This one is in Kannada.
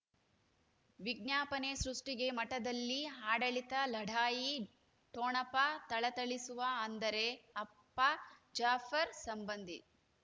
ವಿಜ್ಞಾಪನೆ ಸೃಷ್ಟಿಗೆ ಮಠದಲ್ಲಿ ಆಡಳಿತ ಲಢಾಯಿ ಠೊಣಪ ಥಳಥಳಿಸುವ ಅಂದರೆ ಅಪ್ಪ ಜಾಫರ್ ಸಂಬಂಧಿ